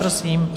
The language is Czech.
Prosím.